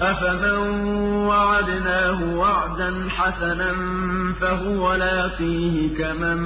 أَفَمَن وَعَدْنَاهُ وَعْدًا حَسَنًا فَهُوَ لَاقِيهِ كَمَن